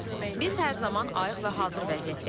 Biz hər zaman ayıq və hazır vəziyyətdəyik.